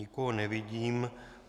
Nikoho nevidím.